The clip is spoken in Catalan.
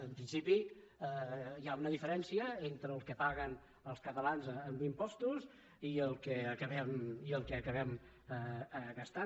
en principi hi ha una diferència entre el que paguen els catalans en impostos i el que acabem gastant